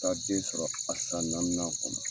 Taa den sɔrɔ a san naaninan kɔnɔ.